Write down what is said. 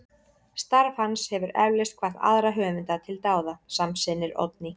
Starf hans hefur eflaust hvatt aðra höfunda til dáða, samsinnir Oddný.